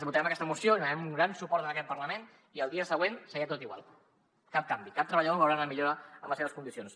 votarem aquesta moció li donarem un gran suport en aquest parlament i l’endemà seguirà tot igual cap canvi cap treballador veurà una millora en les seves condicions